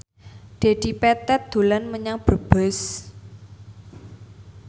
Dedi Petet dolan menyang Brebes